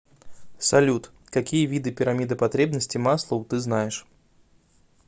салют какие виды пирамида потребностей маслоу ты знаешь